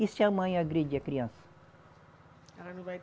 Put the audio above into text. E se a mãe agredir a criança? Ela não vai